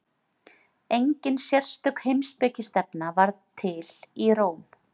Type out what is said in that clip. engin sérstök heimspekistefna varð til í róm